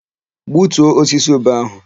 Gbutuo osisi ube áhụ̀!